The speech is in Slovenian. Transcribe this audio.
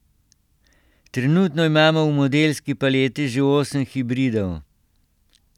Trenutno imamo v modelski paleti že osem hibridov.